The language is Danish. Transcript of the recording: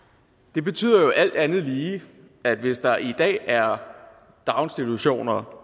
det betyder alt andet lige at hvis der i dag er daginstitutioner